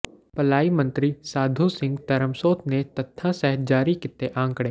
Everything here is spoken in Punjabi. ਭਲਾਈ ਮੰਤਰੀ ਸਾਧੂ ਸਿੰਘ ਧਰਮਸੋਤ ਨੇ ਤੱਥਾਂ ਸਹਿਤ ਜਾਰੀ ਕੀਤੇ ਅੰਕੜੇ